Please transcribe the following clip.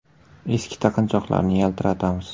Eski taqinchoqlarni yaltiratamiz.